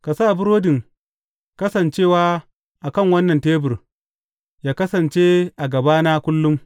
Ka sa burodin Kasancewa a kan wannan tebur, yă kasance a gabana kullum.